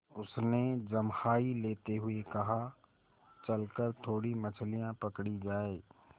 उसने जम्हाई लेते हुए कहा चल कर थोड़ी मछलियाँ पकड़ी जाएँ